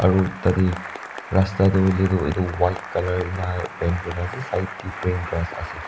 aro tate rasta tu hoile tu etu white color ena paint kuri na ase side de green grass ase.